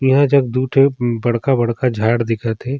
एहा जग दु ठो बड़खा-बड़खा झाड़ दिखा थे।